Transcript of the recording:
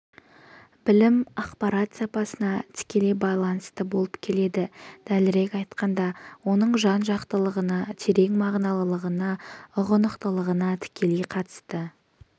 білім ақпарат сапасына тікелей байланысты болып келеді дәлірек айтқанда оның жан-жақтылығына терең мағыналылығына ұғынықтылығына тікелей қатысты